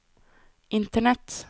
internett